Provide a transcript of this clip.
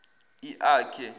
iakhe